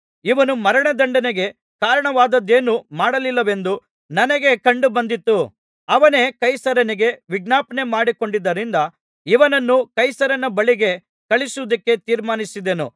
ಇವನು ಮರಣದಂಡನೆಗೆ ಕಾರಣವಾದದ್ದೇನೂ ಮಾಡಲಿಲ್ಲವೆಂದು ನನಗೆ ಕಂಡುಬಂದಿತು ಅವನೇ ಕೈಸರನಿಗೆ ವಿಜ್ಞಾಪನೆಮಾಡಿಕೊಂಡದ್ದರಿಂದ ಇವನನ್ನು ಕೈಸರನ ಬಳಿಗೆ ಕಳುಹಿಸುವುದಕ್ಕೆ ತೀರ್ಮಾನಿಸಿದೆನು